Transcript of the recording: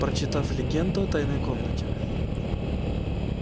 прочитав легенду о тайной комнате